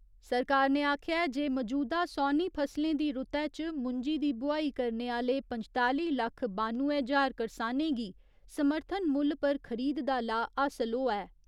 सरकार ने आखेआ ऐ जे मजूदा सौनी फसलें दी रुतै च मुंजी दी बुआई करने आह्‌ले पंजताली लक्ख बानुए ज्हार करसानें गी समर्थन मुल्ल पर खरीद दा लाह् हासल होआ ऐ।